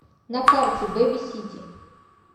на карте беби сити